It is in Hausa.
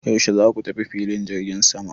Yaushe za ku tafi filin jirgin sama?